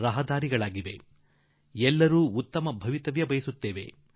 ನಾವೆಲ್ಲರೂ ಉತ್ತಮ ಜೀವನ ಅಪೇಕ್ಷಿಸುತ್ತೇವೆ